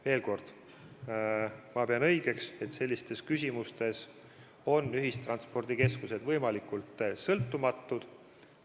Veel kord, ma pean õigeks, et sellistes küsimustes on ühistranspordikeskused võimalikult sõltumatud.